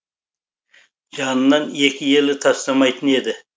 жанынан екі елі тастамайтын еді